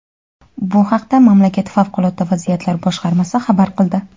Bu haqda mamlakat favqulodda vaziyatlar boshqarmasi xabar qildi.